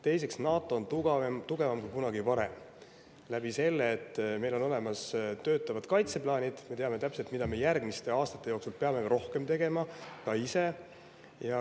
Teiseks, NATO on tugevam kui kunagi varem, sest meil on olemas töötavad kaitseplaanid, me teame täpselt, mida me järgmiste aastate jooksul peame rohkem tegema, ka meie ise.